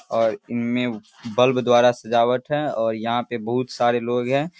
और इनमे बल्ब द्वारा सजावट है और यहाँ पे बहुत सारे लोग हैं।